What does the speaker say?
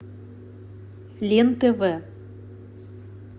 лен тв